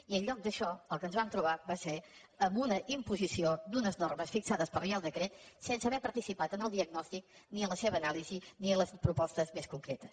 i en lloc d’això el que ens vam trobar va ser amb una imposició d’unes normes fixades per reial decret sense haver participat en el diagnòstic ni en la seva anàlisi ni en les propostes més concretes